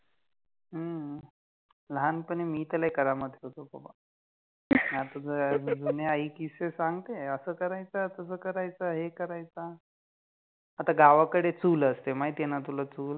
ह्म्म, लहानपणी मी त लइ करामति होतो बाबा, आता तर जुने आइ किस्से सांगते अस करायचा, तस करायचा, हे करायचा, आता गावाकडे चुल असते माहिती आहे न तुला चुल